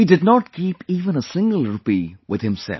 He did not keep even a single rupee with himself